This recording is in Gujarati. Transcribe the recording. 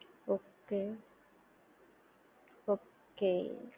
okay okay